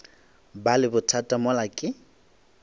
ba le bothata mola ke